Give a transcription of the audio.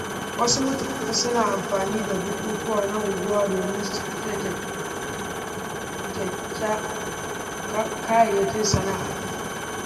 Wasu mutane suna amfani da bukukuwa na unguwa domin sayar da kayayyakin sana’a.